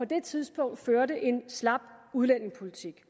det tidspunkt førte en slap udlændingepolitik